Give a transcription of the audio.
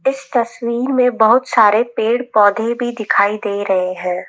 इस तस्वीर में बहुत सारे पेड़ पौधे भी दिखाई दे रहे हैं।